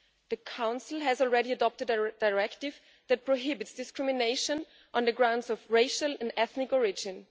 The Council has already adopted a directive that prohibits discrimination on grounds of racial or ethnic origin.